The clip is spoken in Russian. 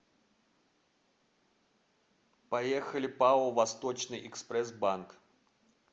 поехали пао восточный экспресс банк